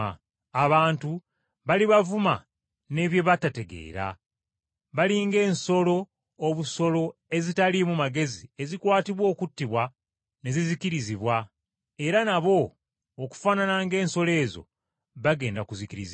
Abantu bali bavuma ne bye batategeera, bali ng’ensolo obusolo ezitaliimu magezi ezikwatibwa okuttibwa ne zizikirizibwa; era nabo okufaanana ng’ensolo ezo, bagenda kuzikirizibwa.